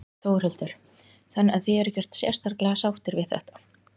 Þórhildur: Þannig að þið eruð ekkert sérstaklega sáttir við þetta?